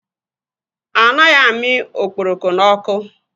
Anaghị amị okporoko n'ọkụ.